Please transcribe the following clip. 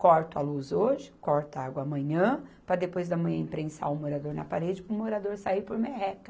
Corta a luz hoje, corta a água amanhã, para depois de amanhã imprensar o morador na parede para o morador sair por merreca.